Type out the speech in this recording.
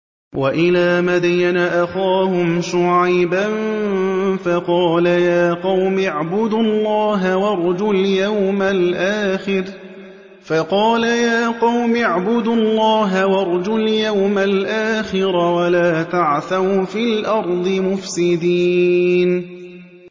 وَإِلَىٰ مَدْيَنَ أَخَاهُمْ شُعَيْبًا فَقَالَ يَا قَوْمِ اعْبُدُوا اللَّهَ وَارْجُوا الْيَوْمَ الْآخِرَ وَلَا تَعْثَوْا فِي الْأَرْضِ مُفْسِدِينَ